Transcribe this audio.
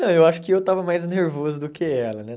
Não, eu acho que eu estava mais nervoso do que ela, né?